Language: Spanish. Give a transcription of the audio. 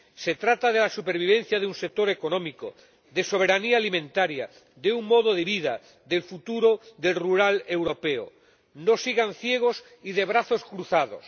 Se trata de la supervivencia de un sector económico, de soberanía alimentaria, de un modo de vida, del futuro del mundo rural europeo. No sigan ciegos y de brazos cruzados.